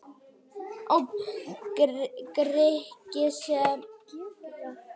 Grikki sem í pólitískum efnum sjá bara svart og hvítt og unna aldrei mótherjum sannmælis.